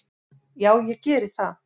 """Já, ég geri það."""